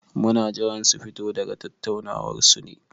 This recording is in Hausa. Muna jiran su fito daga tattaunawar su ne.